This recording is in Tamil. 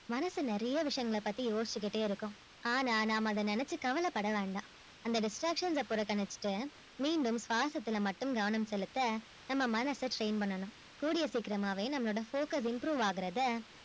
மனசு நிறைய விஷயங்களை பத்தி யோசிச்சுக்கிட்டே இருக்கும் ஆனா நாம அதை நினைச்சு கவலைப்பட வேண்டாம் அந்த distractions ஐ புறக்கணிச்சுட்டு மீண்டும் சுவாசத்துல மட்டும் கவனம் செலுத்த நம்ம மனச train பண்ணணும் கூடிய சீக்கிரமாவே நம்மளோட focus improve ஆகுறதை